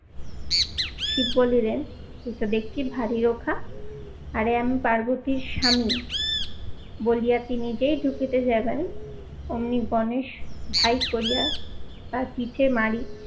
শিব বলি রে এটা দেখছি ভারী রোখা। আর এ আমি পার্বতীর স্বামী বলিয়াতি নিজেই ধুকিতে যাবেন অমনি গণেশ ধাই করিয়া তার পিঠে মারি